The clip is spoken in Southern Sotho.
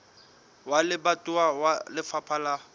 wa lebatowa wa lefapha la